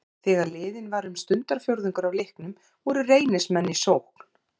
Þegar liðinn var um stundarfjórðungur af leiknum voru Reynismenn í sókn.